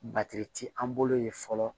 ti an bolo yen fɔlɔ